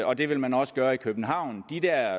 og det vil man også gøre i københavn de der